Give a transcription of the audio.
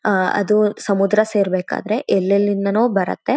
ಆಆ ಅದು ಸಮುದ್ರ ಸೇರಬೇಕಾದರೆ ಎಲ್ ಎಲ್ಲಿಂದನೋ ಬರುತ್ತೆ. .